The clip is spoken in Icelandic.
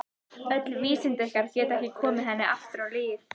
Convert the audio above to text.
Öll vísindi ykkar geta ekki komið henni aftur á ið.